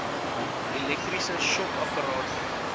elektriese shock apparate